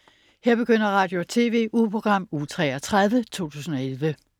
Radio- og TV-ugeprogram Uge 33, 2011